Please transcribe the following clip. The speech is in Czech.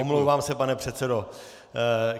Omlouvám se, pane předsedo.